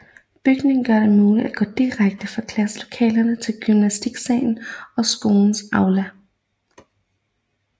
Bygningen gør de muligt at gå direkte fra klasselokalerne til gymnastiksalen og skolens aula